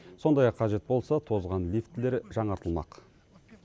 сондай ақ қажет болса тозған лифтілер жаңартылмақ